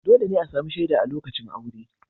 Dole ne a sami shaida a lokacin aure.